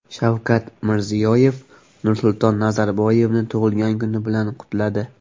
Shavkat Mirziyoyev Nursulton Nazarboyevni tug‘ilgan kuni bilan qutladi.